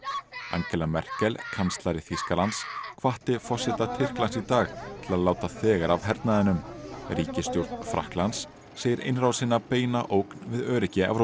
Angela Merkel kanslari Þýskalands hvatti forseta Tyrklands í dag til að láta þegar af hernaðinum ríkisstjórn Frakklands segir innrásina beina ógn við öryggi Evrópu